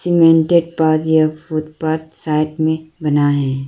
Cemented path या footpath side में बना है।